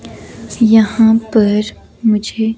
यहां पर मुझे--